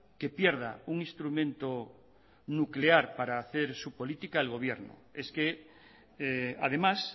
que pierda un instrumento nuclear para hacer su política el gobierno es que además